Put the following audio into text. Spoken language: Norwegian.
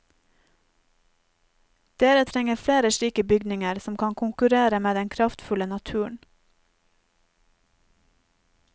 Dere trenger flere slike bygninger som kan konkurrere med den kraftfulle naturen.